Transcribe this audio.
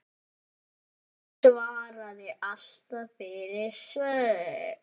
Hún svaraði alltaf fyrir sig.